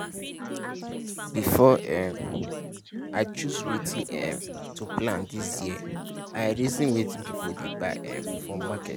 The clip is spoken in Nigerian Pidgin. before um i choose wetin um to plant this year i reason wetin people dey buy um for market.